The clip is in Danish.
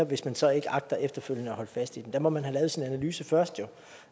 hvis man så ikke agter efterfølgende at holde fast i dem der må man have lavet sin analyse først